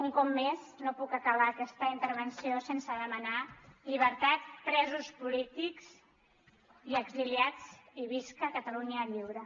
un cop més no puc acabar aquesta intervenció sense demanar llibertat presos polítics i exiliats i visca catalunya lliure